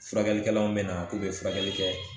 Furakɛlikɛlaw bɛna k'u bɛ furakɛli kɛ